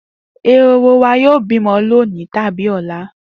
Ehoro wa yóò bímọ lónìí tàbí lọ́la